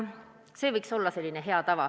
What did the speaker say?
See võiks olla hea tava.